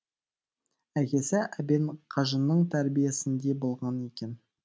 әкесі әбен қажының тәрбиесінде болған екен